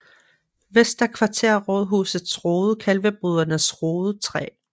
Vester Kvarter Rådhusets Rode Kalvebodernes Rode 3